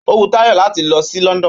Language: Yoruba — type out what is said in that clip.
Ó wu Táyọ̀ láti lọ sí London